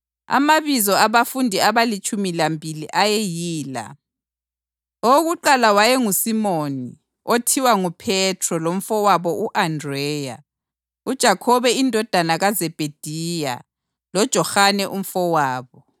Amabizo abafundi abalitshumi lambili ayeyila: Owokuqala wayenguSimoni, othiwa nguPhethro lomfowabo u-Andreya; uJakhobe indodana kaZebhediya loJohane umfowabo;